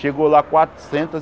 Chegou lá quatrocentas